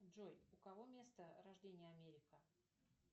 джой у кого место рождения америка